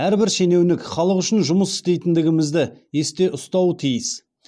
әрбір шенеунік халық үшін жұмыс істейтіндігімізді есте ұстауы тиіс